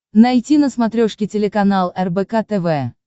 найти на смотрешке телеканал рбк тв